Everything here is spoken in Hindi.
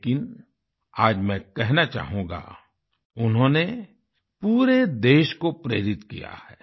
लेकिन आज मैं कहना चाहूँगा उन्होंने पूरे देश को प्रेरित किया है